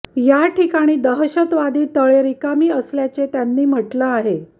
या ठिकाणी दहशतवादी तळे रिकामी असल्याची त्यांनी म्हटलं आहे